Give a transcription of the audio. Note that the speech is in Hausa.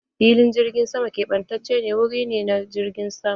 Filin jirgin sama ƙebatacen wuri ne na jirgin sama.